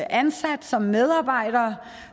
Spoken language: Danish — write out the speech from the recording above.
ansat som medarbejder